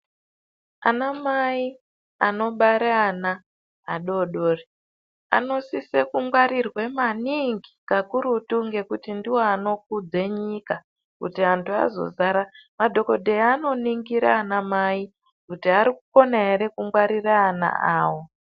Ana mai anobara ana adodori anosise kungwarirwe maningi kakurutu ngekuti ndiwo anokudze nyika kuti antu azozara madhokodheya anoningira ana mai kuti arikukona ere kungwarirwe ana ayo.